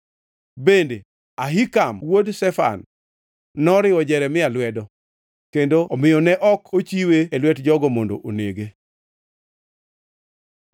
Bende, Ahikam wuod Shafan noriwo Jeremia lwedo, kendo omiyo ne ok ochiwe e lwet jogo mondo onege.